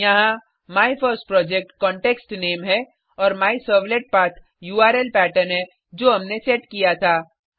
यहाँ my first project context name है और मायसर्वलेटपाठ उर्ल पेटर्न है जो हमने सेट किया था